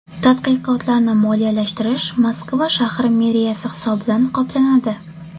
Tadqiqotlarni moliyalashtirish Moskva shahri meriyasi hisobidan qoplanadi.